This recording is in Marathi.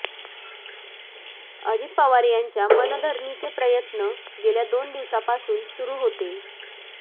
अजित पवार यांच्या मनधरणीचे प्रयत्न गेल्या दोन दिवसापासून सुरु होते